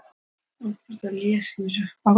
Hjördís: Og ætlið þið að staldra lengi við?